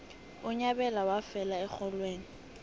unyabela wafela erholweni